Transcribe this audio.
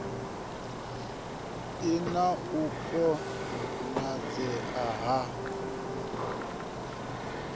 si na u konadzea ha